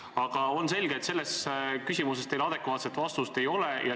Aga on selge, et selles küsimuses teil adekvaatset vastust ei ole.